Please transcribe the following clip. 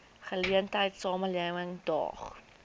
geleentheid samelewing daag